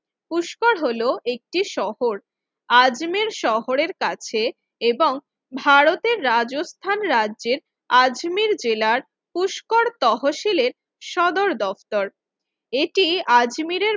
পুষ্কর হলো একটি শহর আজমির শহরের কাছে এবং ভারতের রাজস্থান রাজ্যের আজমির জেলার পুষ্কর তহশিলের সদর দপ্তর এটি আজমিরের